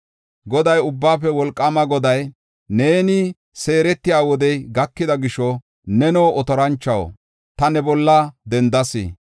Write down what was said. Goday, Ubbaafe Wolqaama Goday, “Neeni seeretiya wodey gakida gisho, neno, otoranchuwaw, ta ne bolla dendas.